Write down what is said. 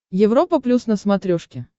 европа плюс на смотрешке